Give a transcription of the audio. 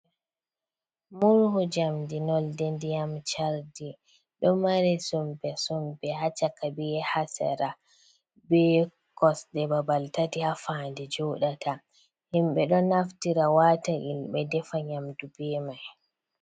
Murhu jamdi nonɗe ndiyam chardi, ɗo mari sumpe-sumpe ha chaka, be ha sera, be kosde babal tati ha faa'nde joɗata. Himbe ɗon naftira wata ilɓe defa nyamdu be mai.